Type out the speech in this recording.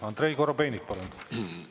Andrei Korobeinik, palun!